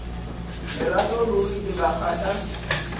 lerato ruri e ka kgahla